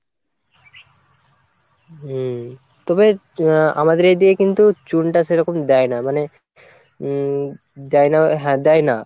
হম তবে আ আমাদের এদিকে কিন্তু চুনটা সেরকম দেয় না মানে উম দেয় না হ্যাঁ দেয় না,